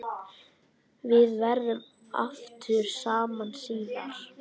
Við verðum aftur saman síðar.